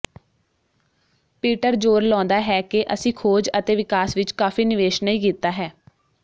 Peter ਜ਼ੋਰ ਲਾਉਂਦਾ ਹੈ ਕਿ ਅਸੀਂ ਖੋਜ ਅਤੇ ਵਿਕਾਸ ਵਿਚ ਕਾਫ਼ੀ ਨਿਵੇਸ਼ ਨਹੀਂ ਕੀਤਾ ਹੈ